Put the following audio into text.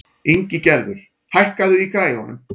Ingigerður, hækkaðu í græjunum.